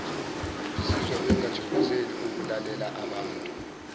bezizwa bengakuthokozeli ukulalelaabantu